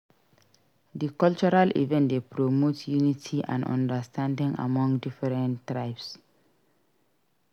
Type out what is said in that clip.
Di cultural event dey promote unity and understanding among different tribes.